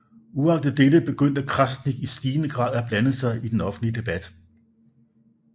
Uagtet dette begyndte Krasnik i stigende grad at blande sig i den offentlige debat